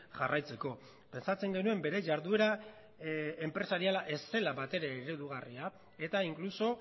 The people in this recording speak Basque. jarraitzeko pentsatzen genuen bere jarduera enpresariala ez zela batere eredugarria eta inkluso